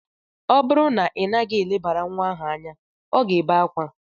Ọ bụrụ na ị naghị elebara nwa ahụ anya, ọ ga-ebe akwa.